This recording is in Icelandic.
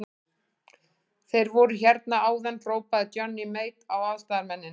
Þeir voru hérna áðan, hrópaði Johnny Mate á aðstoðarmennina.